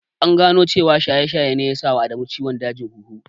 An gano cewa shaye-shaye ne ya sa wa Adamu ciwon dajin huhu.